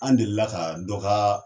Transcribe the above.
An delila ka dɔ ka